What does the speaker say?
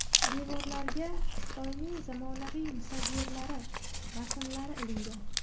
Devorlarga Xitoyning zamonaviy musavvirlari rasmlari ilingan.